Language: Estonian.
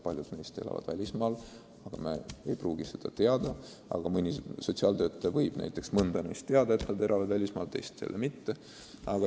Paljud neist elavad välismaal, aga riik ei pruugi seda teada, ent mõni sotsiaaltöötaja võib olla kuulnud, et keegi on välismaale elama läinud.